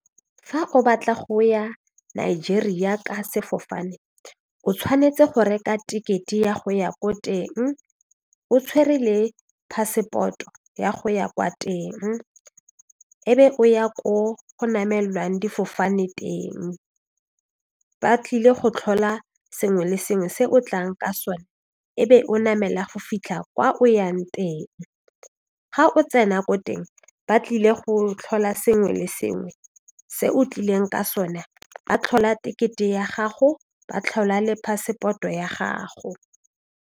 Fa o batla go ya Nigeria ka sefofane o tshwanetse go reka tekete ya go ya ko teng o tshwere le passport-o ya go ya kwa teng e be o ya ko go namelelwang difofane teng ba tlile go tlhola sengwe le sengwe se o tlang ka sone e be o namela go fitlha kwa o yang teng ga o tsena ko teng ba tlile go tlhola sengwe le sengwe se o tlileng ka sone ba tlhola tekete ya gago ba tlhola le passport-o ya gago.